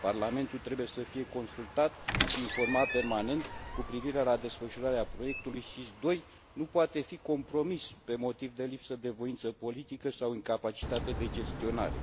Parlamentul trebuie să fie consultat și informat permanent cu privire la desfășurarea proiectului SIS II, care nu poate fi compromis pe motiv de lipsă de voință politică sau incapacitate de gestionare.